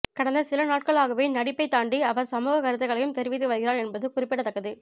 கடந்த சில நாட்களாகவே நடிப்பைத் தாண்டி அவர் சமூகக் கருத்துக்களையும் தெரிவித்து வருகிறார் என்பது குறிப்பிடத்தக்கது